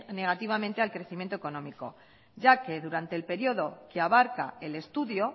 negativamente al crecimiento económico ya que durante el periodo que abarca el estudio